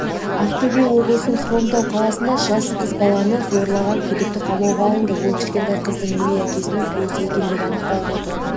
ақтөбе облысының хромтау қаласында жасар қыз баланы зорлаған күдікті қамауға алынды ол кішкентай қыздың өгей әкесінің туысы екені анықталып отыр